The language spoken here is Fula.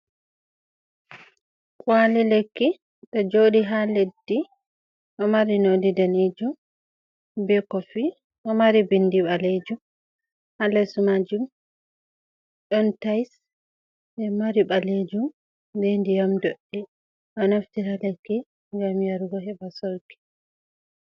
Kwali lekki to joɗi ha leddi o mari no ɗi danijum be kofi o mari bindi balejum ha les majum, don tais be mari balejum be ndiyam ɗodɗe o naftira lekki ngam yarugo. heba sorki